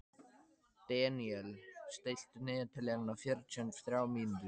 Deníel, stilltu niðurteljara á fjörutíu og þrjár mínútur.